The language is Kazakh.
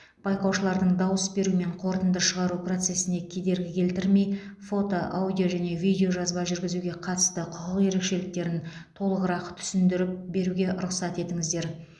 байқаушылардың дауыс беру мен қорытынды шығару процесіне кедергі келтірмей фото аудио және видеожазба жүргізуге қатысты құқық ерекшеліктерін толығырақ түсіндіріп беруге рұқсат етіңіздер